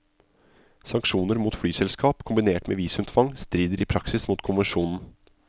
Sanksjoner mot flyselskap kombinert med visumtvang strider i praksis mot konvensjonen.